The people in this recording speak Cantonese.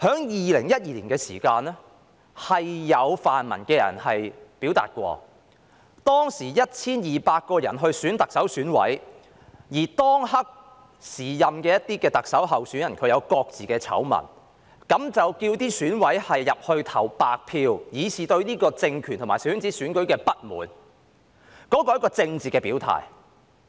2012年的時候，特首選委會由 1,200 人組成，而當時一些特首候選人各有醜聞，有泛民人士遂要求選委投白票，以示對這個政權及小圈子選舉的不滿，那是一種政治表態。